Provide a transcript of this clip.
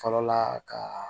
Fɔlɔla kaaa